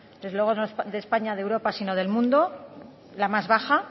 desde luego no de españa de europa sino del mundo la más baja